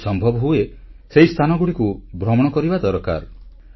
ଯଦି ସମ୍ଭବ ହୁଏ ସେହି ସ୍ଥାନଗୁଡ଼ିକୁ ଭ୍ରମଣ କରିବା ଦରକାର